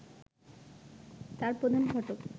তার প্রধান ফটক